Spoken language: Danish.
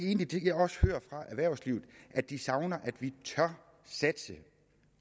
egentlig også hører fra erhvervslivet er at de savner at vi tør satse